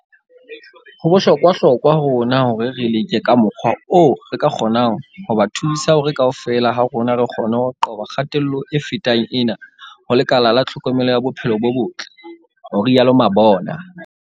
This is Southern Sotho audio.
"Ho bohlokwa hlokwa ho rona hore re leke ka mokgwa oo re ka kgonang ho ba thusa hore kaofela ha rona re kgone ho qoba kgatello e fetang ena ho lekala la tlhokomelo ya bophelo bo botle," ho rialo Mabona.